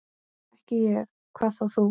Ekki ég, hvað þá þú.